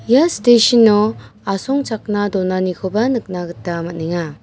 ia station-o asongchakna donanikoba nikna gita man·enga.